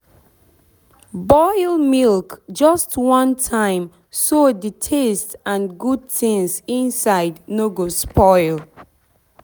boil milk just one time so the taste and good things inside no go spoil.